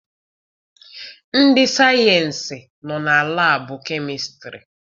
Ndị sayensị nọ na labu chemistiry.